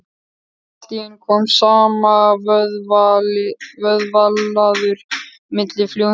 Allt í einu kom samanvöðlaður miði fljúgandi á borðið hans.